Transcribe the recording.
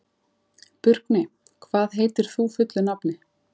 Burkney, hvað heitir þú fullu nafni?